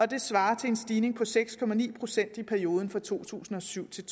det svarer til en stigning på seks procent i perioden fra to tusind og syv til